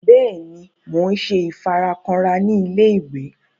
Bẹẹni, Mo n ṣe ifarakanra ni ilé-ìwé